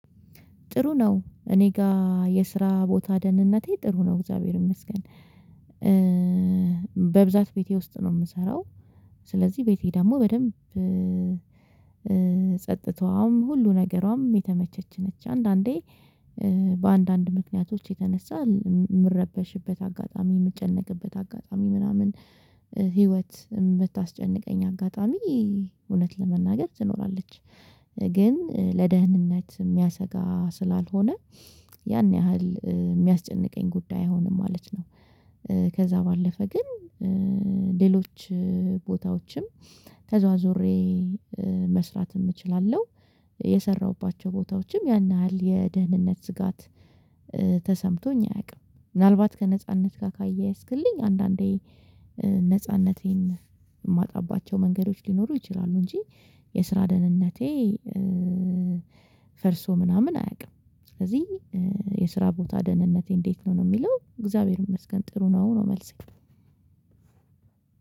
ጥሩ ነው እኔ ጋር የስራ ቦታ ደህንነቴ ጥሩ ነው እግዚአብሔር ይመስገን በብዛት ቤቴ ውስጥ ነው የምሰራው ስለዚህ ቤቴ ደግሞ በደንብ ጸጥታዋም ሁሉ ነገሯም የተመቸች ነች አንዳንዴ በአንዳንድ ምክንያቶች የተነሳ የምረበሽበት አጋጣሚ፣ የምጨነቅበት አጋጣሚ፣ ምናምን ህይወት የምታስጨንቀኝ አጋጣሚ እውነት ለመናገር ትኖራለች። ግን ለደህንነት የሚያሰጋ ስላልሆነ ያን ያህል የሚያስጨንቀኝ ጉዳይ አይሆንም ማለት ነው። ከዛ ባለፈ ግን ሌሎች ቦታዎችም ተዟዙሬ መስራትም እችላለሁ፣ የሰራሁባቸው ቦታዎችም ያን ያህል የደህንነት ስጋት ተሰምቶኝ አያውቅም። ምናልባት ከነጻነት ጋር ካያያዝክልኝ አንዳንዴ ነጻነቴን የማጣባቸው መንገዶች ሊኖሩ ይችላሉ እንጂ የስራ ደህንነቴ ፈርሶ ምናምን አያውቅም፣ ስለዚህ የስራ ቦታ ደህንነቴ እንዴት ነው ነው የሚለው እግዚአብሔርን መስገን ጥሩ ነው ነው መልሴ።